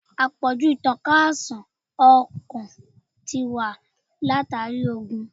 Àpọ̀jù ìtànká àìsàn ọkàn ti wà látàrí oògun.